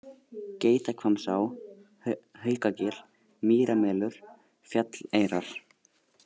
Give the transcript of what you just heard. Geitahvammsá, Haukagil, Mýramelur, Fjalleyrar